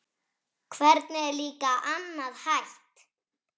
Hvernig er líka annað hægt?